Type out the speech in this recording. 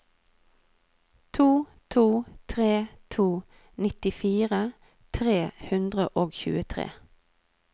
to to tre to nittifire tre hundre og tjuetre